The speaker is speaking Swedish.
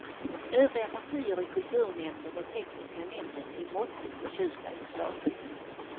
Övriga partier i kulturnämnden och tekniska nämnden är måttligt förtjusta i förslaget.